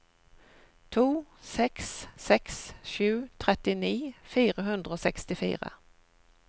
to seks seks sju trettini fire hundre og sekstifire